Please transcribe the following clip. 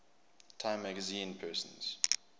time magazine persons